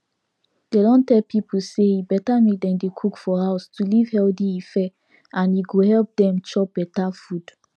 dem don tell pipu say e better make dem dey cook for house to live healthy lfe and e go help dem chop better food